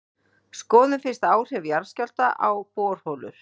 skoðum fyrst áhrif jarðskjálfta á borholur